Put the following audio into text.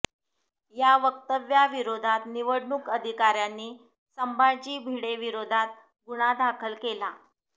या वक्तव्याविरोधात निवडणूक अधिकाऱ्यांनी संभाजी भिडेंविरोधात गुन्हा दाखल केला